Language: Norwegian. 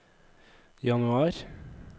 januar